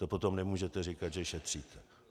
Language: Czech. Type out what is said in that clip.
To potom nemůžete říkat, že šetříte.